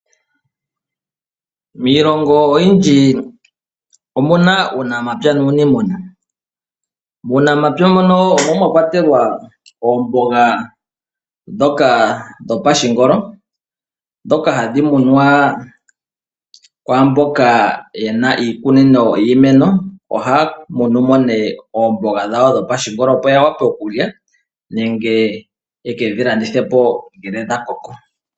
Miilongo oyindji omuna uunamapya nuunimuna . Muunamapya mono omo mwakwatelwa oomboga ndhoka dhopashingolo ndhoka hadhi munwa kwaamboka yena iikunino yiimeno. Ohaya munu mo nee oomboga dhawo dho pashingolo opo ya wape okulya nenge yw kedhi landithepo ngele dha koko.